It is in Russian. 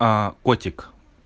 а котик